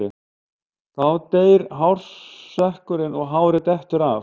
Þá deyr hársekkurinn og hárið dettur af.